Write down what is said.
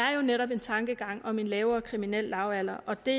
er jo netop en tankegang om en lavere kriminel lavalder og det